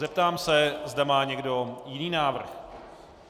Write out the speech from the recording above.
Zeptám se, zda má někdo jiný návrh.